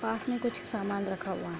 पास में कुछ सामान रखा हुआ --